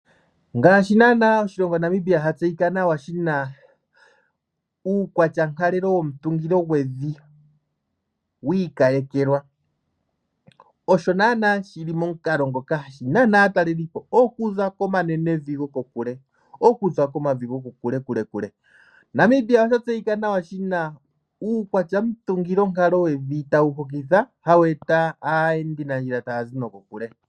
Ngaashi naanaa oshilonga Namibia sha tseyika nawa shi na uukwatyankalelo womutungilo gwevi wi ikalekelwa, osho naanaa shili momukalo ngoka hashi nana aatalelipo okuza komanenevi gokokule, okuza komavi gokokulekulekule. Namibia osha tseyika nawa shina uukwatyamutungilonkalo wevi tawu hokitha hawu eta aayendinandjila taya zi nokokule.